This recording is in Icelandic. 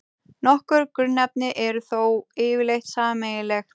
Nokkur grunnefni eru þó yfirleitt sameiginleg.